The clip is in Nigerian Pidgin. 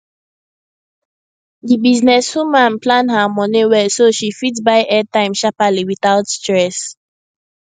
the business woman plan her money well so she fit buy airtime sharperly without stress